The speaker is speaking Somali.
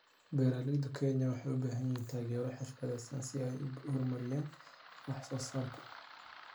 Beeralayda Kenya waxay u baahan yihiin taageero xirfadeed si ay u horumariyaan wax soo saarka.